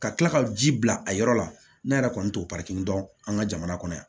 Ka tila ka ji bila a yɔrɔ la ne yɛrɛ kɔni t'o dɔn an ka jamana kɔnɔ yan